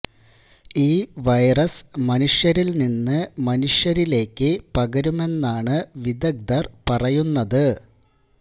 ഈ വൈറസ് മനുഷ്യരില് നിന്ന് മനുഷ്യരിലേക്ക് പകരുമെന്നാണ് വിദഗ്ധര് പറയുന്നത്